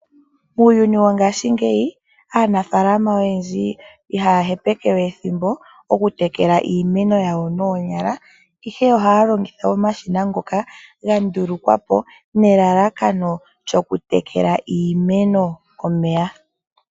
Muuyuni wongashingeyi aanafaalama oyendji iha ya hepeke we ethimbo okutekela iimeno yawo noonyala ,ihe ohaya longitha omashina ngoka ga ndulukwapo nelalakano lyokutekela iimeno omeya.